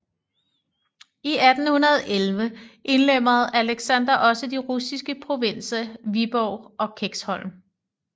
I 1811 indlemmede Alexander også de russiske provinser Viborg og Kexholm